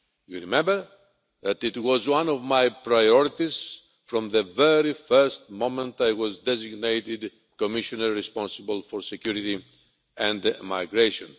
You will remember that it was one of my priorities from the very first moment I was designated Commissioner responsible for security and migration.